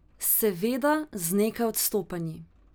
Seveda z nekaj odstopanji.